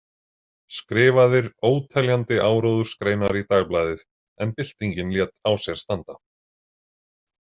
Skrifaðir óteljandi áróðursgreinar í Dagblaðið en byltingin lét á sér standa.